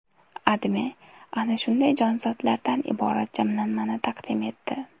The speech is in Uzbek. AdMe ana shunday jonzotlardan iborat jamlanmani taqdim etdi .